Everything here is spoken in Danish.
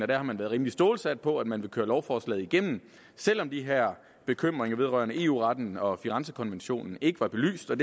der har man været rimelig stålsat på at man ville køre lovforslaget igennem selv om de her bekymringer vedrørende eu retten og firenzekonventionen ikke var belyst der